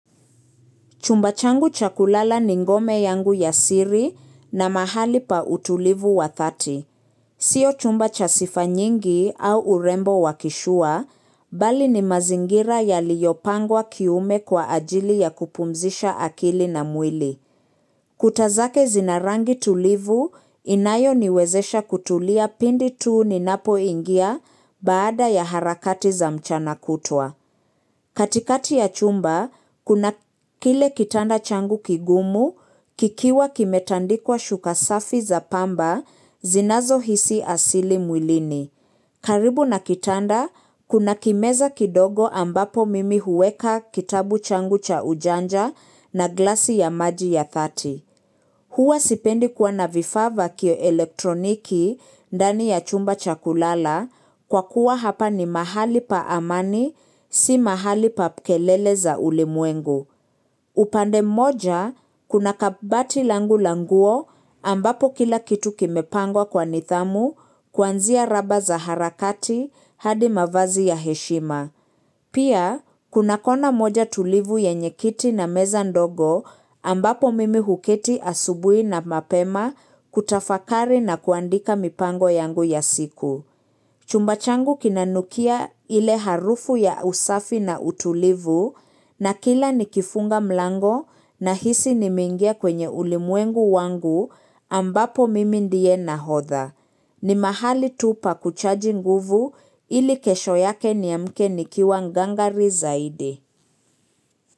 Chumba changu chakulala ningome yangu ya siri na mahali pa utulivu wa thati. Sio chumba chasifa nyingi au urembo wakishua, bali ni mazingira yaliyopangwa kiume kwa ajili ya kupumzisha akili na mwili. Kutazake zinarangi tulivu, inayo niwezesha kutulia pindi tuu ni napo ingia baada ya harakati za mchana kutwa. Katikati ya chumba, kuna kile kitanda changu kigumu kikiwa kimetandikwa shuka safi za pamba zinazo hisi asili mwilini. Karibu na kitanda, kuna kimeza kidogo ambapo mimi huweka kitabu changu cha ujanja na glasi ya maji ya thati. Hua sipendi kuwa na vifava vya kielektroniki ndani ya chumba chakulala kwa kuwa hapa ni mahali pa amani si mahali pa kelele za ulimwengu. Upande moja, kuna kabati langu la nguo ambapo kila kitu kimepangolwa kwa nidhamu kwanzia raba za harakati hadi mavazi ya heshima. Pia, kuna kona moja tulivu yenye kiti na meza ndogo ambapo mimi huketi asubuhi na mapema kutafakari na kuandika mipango yangu ya siku. Chumbachangu kinanukia ile harufu ya usafi na utulivu na kila ni kifunga mlango na hisi ni meingia kwenye ulimwengu wangu ambapo mimi ndiye nahodha. Ni mahali tupa kuchaji nguvu ili kesho yake ni amke nikiwa ngangari zaidi.